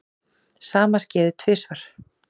Sama skeði tvisvar.